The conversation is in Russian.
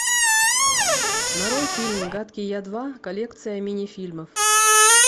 нарой фильм гадкий я два коллекция минифильмов